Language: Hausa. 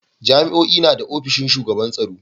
Jami'o'i na da ofishin shugaban tsaro.